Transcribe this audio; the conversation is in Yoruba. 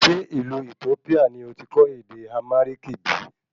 Ṣé ìlú Ethiopia ni oti kọ́ ède Amhariki bìí?